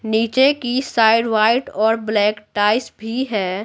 नीचे की side white और ब्लैक भी है।